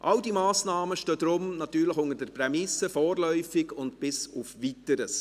All diese Massnahmen stehen deshalb unter der Prämisse «vorläufig» und «bis auf Weiteres».